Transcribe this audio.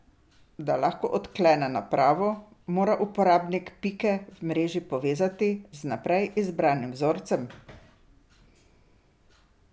Da lahko odklene napravo, mora uporabnik pike v mreži povezati z vnaprej izbranim vzorcem.